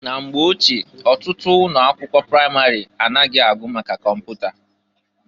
Na mgbe ochie, ọtụtụ ụnọ akwụkwọ pramarị anaghị agụ maka kọmpụta.